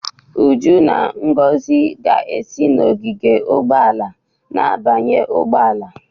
Uju na Ngozi ga-esi n'ogige ụgbọ ala na-abanye ụgbọ ala